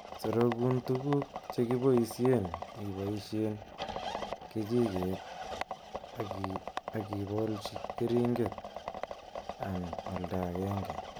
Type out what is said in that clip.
Sorokun tuguk chekiboishen iboishen kechiket ak ibolchi keringet an oldaa agenge.